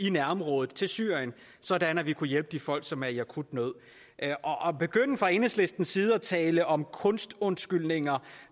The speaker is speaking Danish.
i nærområdet til syrien sådan at vi kunne hjælpe de folk som er i akut nød at begynde fra enhedslistens side at tale om kunstundskyldninger